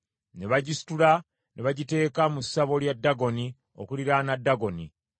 ne bagisitula ne bagiteeka mu ssabo lya Dagoni , okuliraana Dagoni.